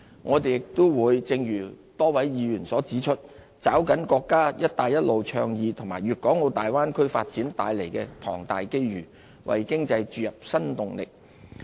我們亦會正如多位議員所指出，抓緊國家"一帶一路"倡議和粵港澳大灣區發展帶來的龐大機遇，為經濟注入新動力。